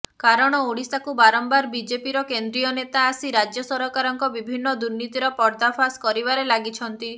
କାରଣ ଓଡ଼ିଶାକୁ ବାରମ୍ବାର ବିଜେପିର କେନ୍ଦ୍ରୀୟ ନେତା ଆସି ରାଜ୍ୟ ସରକାରଙ୍କ ବିଭିନ୍ନ ଦୁର୍ନୀତିର ପର୍ଦ୍ଦାଫାସ୍ କରିବାରେ ଲାଗିଛନ୍ତି